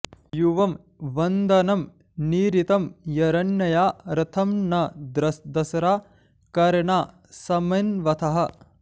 यु॒वं वन्द॑नं॒ निरृ॑तं जर॒ण्यया॒ रथं॒ न द॑स्रा कर॒णा समि॑न्वथः